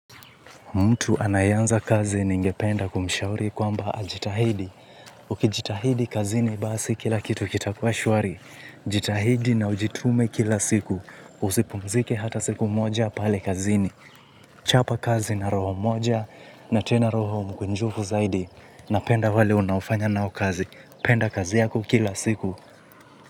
Mtu anaye anza kazi ningependa kumishauri kwamba ajitahidi, ukijitahidi kazini basi kila kitu kitakua shwari, jitahidi na ujitume kila siku, usipumzike hata siku moja pale kazini, chapa kazi na roho moja na tena roho mkunjufu zaidi, napenda wale unaofanya nao kazi, penda kazi yako kila siku.